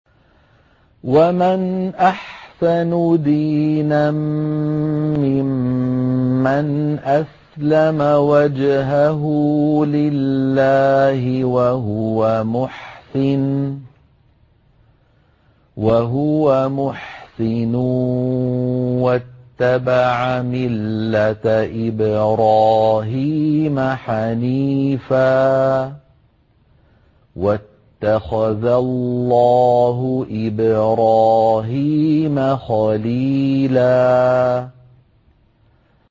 وَمَنْ أَحْسَنُ دِينًا مِّمَّنْ أَسْلَمَ وَجْهَهُ لِلَّهِ وَهُوَ مُحْسِنٌ وَاتَّبَعَ مِلَّةَ إِبْرَاهِيمَ حَنِيفًا ۗ وَاتَّخَذَ اللَّهُ إِبْرَاهِيمَ خَلِيلًا